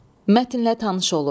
Mətnlə tanış olun.